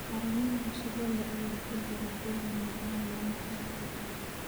Caramel cusbo leh ayaa ku dara dhadhan macaan macmacaanka macaan.